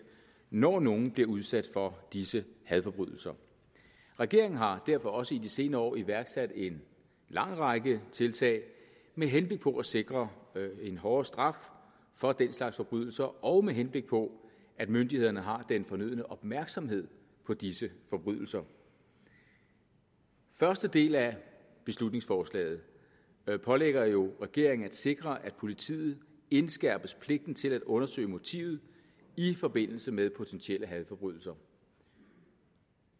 når nogen bliver udsat for disse hadforbrydelser regeringen har derfor også i de senere år iværksat en lang række tiltag med henblik på at sikre en hårdere straf for den slags forbrydelser og med henblik på at myndighederne har den fornødne opmærksomhed på disse forbrydelser første del af beslutningsforslaget pålægger jo regeringen at sikre at politiet indskærpes pligten til at undersøge motivet i forbindelse med potentielle hadforbrydelser